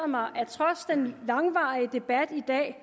mig at trods den langvarige debat i dag